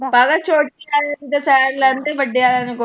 ਪਾਗਲ ਛੋਟੀ ਆਲੇ ਦੀ ਤੇ ਸਾਈਡ ਲੈਂਦੇ ਵੱਡੇ ਆਲਿਆ ਨੂੰ .